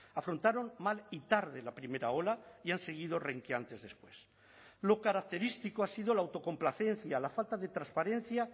afrontaron mal y tarde la primera ola y han seguido renqueantes después lo característico ha sido la autocomplacencia la falta de transparencia